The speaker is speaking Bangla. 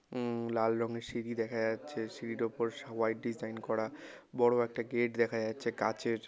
উম লাল রঙের সিঁড়ি দেখা যাচ্ছে সিঁড়ির ওপর সবাই ডিজাইন করা বড়ো একটা গেট দেখা যাচ্ছে কাঁচের ।